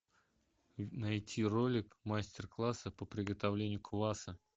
найти ролик мастер класса по приготовлению кваса